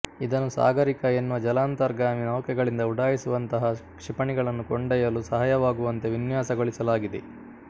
ಇದನ್ನು ಸಾಗರಿಕ ಎನ್ನುವ ಜಲಾಂತರ್ಗಾಮಿ ನೌಕೆಗಳಿಂದ ಉಡಾಯಿಸುವಂತಹ ಕ್ಷಿಪಣಿಗಳನ್ನು ಕೊಂಡೊಯ್ಯಲು ಸಹಾಯವಾಗುವಂತೆ ವಿನ್ಯಾಸಗೊಳಿಸಲಾಗಿದೆ